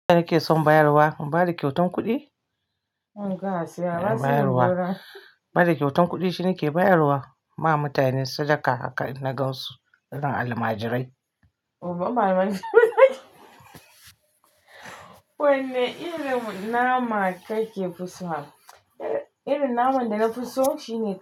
Nake son bayarwa, ba da kyautan kuɗi? Kyautan kuɗi shine ke bayarwa ma mutane sadaka haka in na gan su, in ba almajirai. Amarai. Wanne irin nama kake fison? Irin naman da na fi so shine.